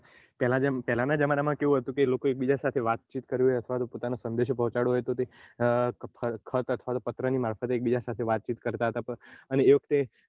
પેલાં જેમ પહેલા જમાનામાં કેવું હતું લોકો એક બીજા જોડે વાતચીત કરવી હોય અથવા સંદેશો પોહ્ચાડવો હોય તો ખત અથવા પત્ર ની મારફતે એકબીજા સાથે વાતચીત હતા અને એ વખતે